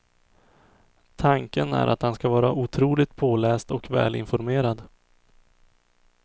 Tanken är att han ska vara otroligt påläst och välinformerad.